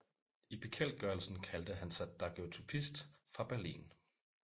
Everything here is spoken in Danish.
I bekendtgørelsen kaldte han sig daguerreotypist fra Berlin